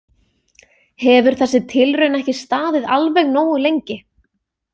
Hefur þessi tilraun ekki staðið alveg nógu lengi?